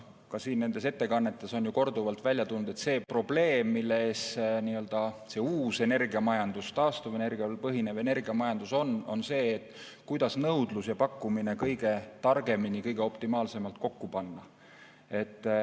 Ka siin nendes ettekannetes on ju korduvalt välja tulnud, et see probleem, mille ees nii-öelda see uus energiamajandus, taastuvenergial põhinev energiamajandus on, on see, kuidas nõudlus ja pakkumine kõige targemini, optimaalselt kokku panna.